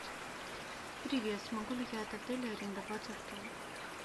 привет смогу ли я от отеля арендовать авто